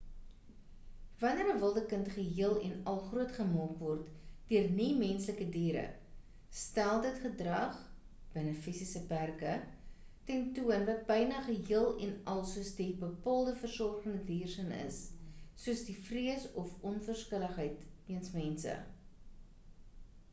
wanneer 'n wilde kind geheel en al grootgemaak word deur nie-menslike diere stel dit gedrag binne fisiese perke ten toon wat byna geheel en al soos die bepaalde versorgende dier s'n is soos die vrees of onverskilligheid jeens mense